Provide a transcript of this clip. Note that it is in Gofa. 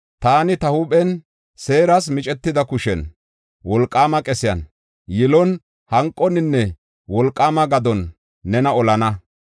Taani, ta huuphen seeras micetida kushen, wolqaama qesiyan, yilon, hanqoninne wolqaama gadon nena olana.